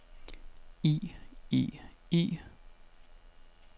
i i i